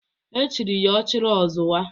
E tiri ya "Ochiri ozuwa"